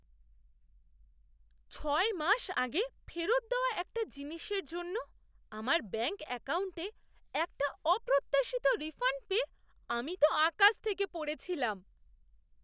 ছয় মাস আগে ফেরত দেওয়া একটা জিনিসের জন্য আমার ব্যাঙ্ক অ্যাকাউণ্টে একটা অপ্রত্যাশিত রিফাণ্ড পেয়ে আমি তো আকাশ থেকে পড়েছিলাম।